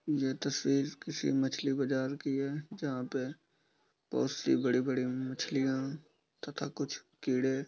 ये तस्वीर किसी मछली बाजार की है जहां पे बहोत सी बड़ी-बड़ी मछलियां तथा कुछ कीड़े --